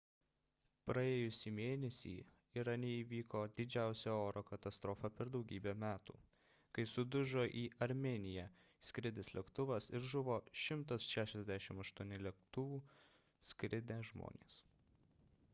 praėjusį mėnesį irane įvyko didžiausia oro katastrofa per daugybę metų kai sudužo į armėniją skridęs lėktuvas ir žuvo 168 lėktuvu skridę žmonės